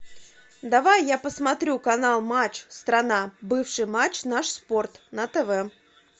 давай я посмотрю канал матч страна бывший матч наш спорт на тв